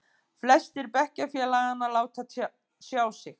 Flestir bekkjarfélaganna láta sjá sig.